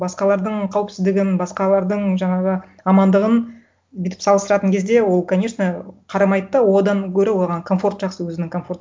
басқалардың қауіпсіздігін басқалардың жаңағы амандағын бүйтіп салыстыратын кезде ол конечно қарамайды да одан көрі оған комфорт жақсы өзінің комфорты